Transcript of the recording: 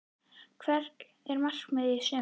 Hvert er markmiðið í sumar?